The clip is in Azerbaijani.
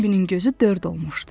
Bimbinin gözü dörd olmuşdu.